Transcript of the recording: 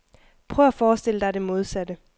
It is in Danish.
Prøv at forestille dig det modsatte.